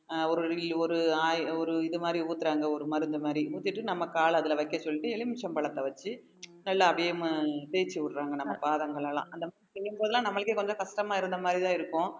அஹ் ஒரு ஒரு oi~ ஒரு இது மாதிரி ஊத்துறாங்க ஒரு மருந்து மாதிரி ஊத்திட்டு நம்ம கால அதுல வைக்க சொல்லிட்டு எலுமிச்சை பழத்தை வச்சு நல்லா அதேமா~ தேய்ச்சு விடுறாங்க நம்ம பாதங்கள் எல்லாம் அந்த செய்யும்போது எல்லாம் நம்மளுக்கே கொஞ்சம் கஷ்டமா இருந்த மாதிரிதான் இருக்கும்